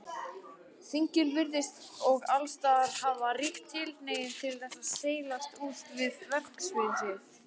Þingin virðast og allsstaðar hafa ríka tilhneigingu til þess að seilast út fyrir verksvið sitt.